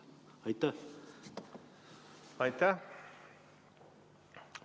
Aitäh!